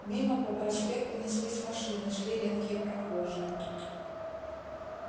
мимо по проспекту неслись машины шли редкие прохожие